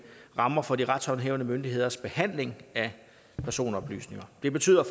rammer for de retshåndhævende myndigheders behandling af personoplysninger det betyder